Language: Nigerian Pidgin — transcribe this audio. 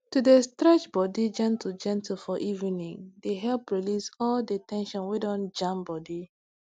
to dey stretch body gentlegentle for evening dey help release all the ten sion wey don jam body